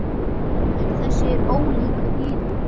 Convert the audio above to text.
En þessi er ólíkur hinum.